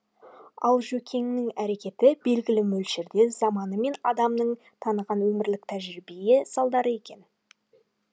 ал жөкеңнің әрекеті белгілі мөлшерде заманы мен адамын таныған өмірлік тәжірибе салдары екен